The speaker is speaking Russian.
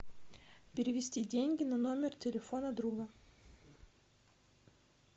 перевести деньги на номер телефона друга